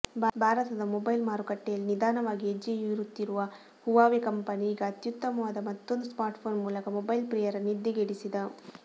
ಭಾರತದ ಮೊಬೈಲ್ ಮಾರುಕಟ್ಟೆಯಲ್ಲಿ ನಿಧಾನವಾಗಿ ಹೆಜ್ಜೆಯೂರುತ್ತಿರುವ ಹುವಾವೆ ಕಂಪೆನಿ ಈಗ ಅತ್ಯುತ್ತಮವಾದ ಮತ್ತೊಂದು ಸ್ಮಾರ್ಟ್ಫೋನ್ ಮೂಲಕ ಮೊಬೈಲ್ ಪ್ರಿಯರ ನಿದ್ದೆಗೆಡಿಸಿದ